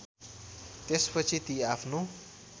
त्यसपछि ती आफ्नो